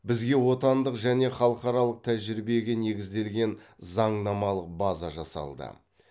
бізде отандық және халықаралық тәжірибеге негізделген заңнамалық база жасалды